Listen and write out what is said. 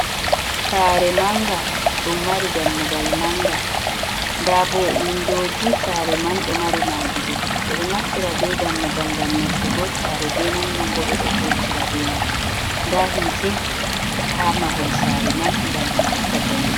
Saare mannga, ɗum mari dammugal mannga, nda bo windooji, saare man ɗo mari maadi dow ɓe ɗo naftira be dammugal ngam nastugo saare be man, nonnon bo ɓe ɗo vurtira ɓe man, nda hiite haa mahol saare man ngam haska jemma.